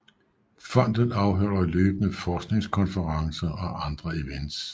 Fondet afholder løbende forskningskonferencer og andre events